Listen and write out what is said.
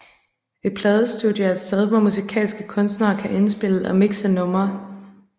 Et pladestudie er et sted hvor musikalske kunstnere kan indspille og mixe numre